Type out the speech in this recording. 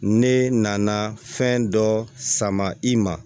Ne nana fɛn dɔ sama i ma